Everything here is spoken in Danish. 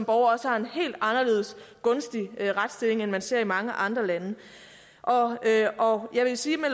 også har en helt anderledes gunstig retsstilling end man ser i mange andre lande og jeg vil sige at